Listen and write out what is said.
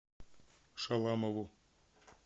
шаламову